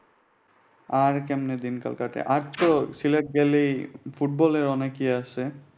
আর কেমনে দিনকাল কাটে? আরতো সিলেট গেলে ফুটবলের অনেক ইয়ে আছে।